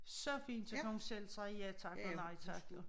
Så fint så kan hun selv sige ja tak og nej tak jo